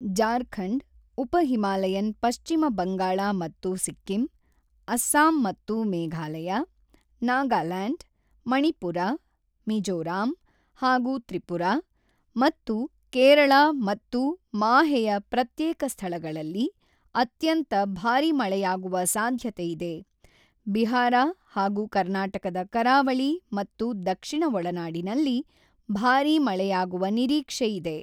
ಜಾರ್ಖಂಡ್, ಉಪ ಹಿಮಾಲಯನ್ ಪಶ್ಚಿಮ ಬಂಗಾಳ ಮತ್ತು ಸಿಕ್ಕಿಂ, ಅಸ್ಸಾಂ ಮತ್ತು ಮೇಘಾಲಯ, ನಾಗಾಲ್ಯಾಂಡ್, ಮಣಿಪುರ, ಮಿಜೋರಾಂ ಹಾಗೂ ತ್ರಿಪುರಾ ಮತ್ತು ಕೇರಳ ಮತ್ತು ಮಾಹೆಯ ಪ್ರತ್ಯೇಕ ಸ್ಥಳಗಳಲ್ಲಿ ಅತ್ಯಂತ ಭಾರಿ ಮಳೆಯಾಗುವ ಸಾಧ್ಯತೆಯಿದೆ ಬಿಹಾರ ಹಾಗೂ ಕರ್ನಾಟಕದ ಕರಾವಳಿ ಮತ್ತು ದಕ್ಷಿಣ ಒಳನಾಡಿನಲ್ಲಿ ಭಾರಿ ಮಳೆಯಾಗುವ ನಿರೀಕ್ಷೆಯಿದೆ.